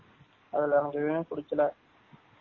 அதுல ஏதுமே புடிகல